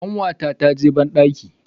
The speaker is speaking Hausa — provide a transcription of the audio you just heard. kanwata ta ji bandaki.